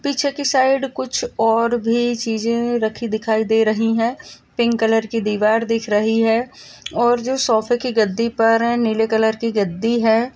पीछे की साइड कुछ और भी छीजे राखी दिख रही है पिंक कलर की दीवार दिख रही है और जो सोफ़े की गद्दी पर नीले कलर की गद्दी है।